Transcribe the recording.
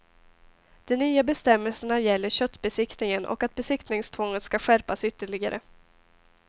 De nya bestämmelserna gäller köttbesiktningen och att besiktningstvånget skall skärpas ytterligare.